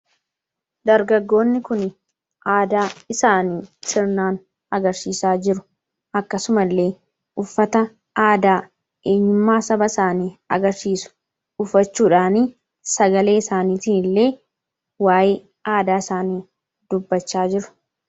Fakkii kana irra wanti mullatu dargaggoota uuffannaa adaa uffatani. Kunis faayidaa madaalamuu hin dandeenye fi bakka bu’iinsa hin qabne qaba. Jireenya guyyaa guyyaa keessatti ta’ee, karoora yeroo dheeraa milkeessuu keessatti gahee olaanaa taphata. Faayidaan isaa kallattii tokko qofaan osoo hin taane, karaalee garaa garaatiin ibsamuu danda'a.